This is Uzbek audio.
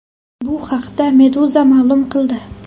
Bu haqda Meduza ma’lum qildi.